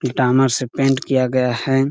पीतामर से पेंट किया गया है।